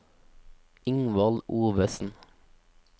Ingvald Ovesen